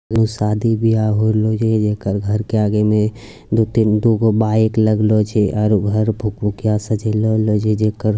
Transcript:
शादी - ब्याह हो रहले छे जेकर घर के आगे में दू-तीन दूगो बाइक लगलो छे आर घर भुकभुकिया सजेलो गेलो छे जेकर।